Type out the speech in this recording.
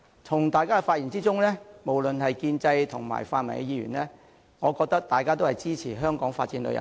從大家的發言可見，無論是建制或泛民議員，大家都支持香港發展旅遊業。